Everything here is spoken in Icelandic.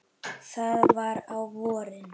Það var á vorin.